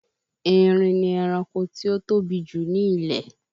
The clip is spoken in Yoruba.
Erin ni ẹranko tí ó tóbi jù ní ilẹ̀